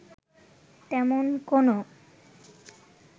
তেমন কোনো